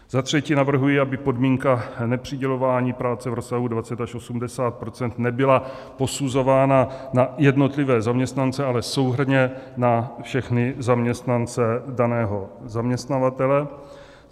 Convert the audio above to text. Za třetí navrhuji, aby podmínka nepřidělování práce v rozsahu 20 až 80 % nebyla posuzována na jednotlivé zaměstnance, ale souhrnně na všechny zaměstnance daného zaměstnavatele.